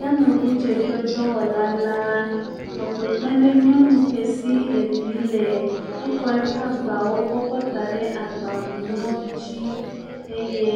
Yameŋudzeƒedɔwɔla la nɔ kpekpem ɖe nyɔnu ke si evi le, exɔ eƒe agbawo kɔ kɔ da ɖe agbakunuɔwo dzi eye